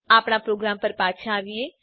આપણા પ્રોગ્રામ પર પાછા આવીએ